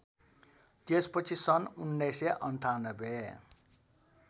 त्यसपछि सन् १९९८